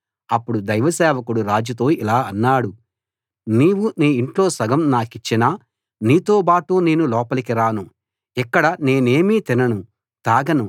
అప్పుడు దైవ సేవకుడు రాజుతో ఇలా అన్నాడు నీవు నీ ఇంట్లో సగం నాకిచ్చినా నీతోబాటు నేను లోపలికి రాను ఇక్కడ నేనేమీ తినను తాగను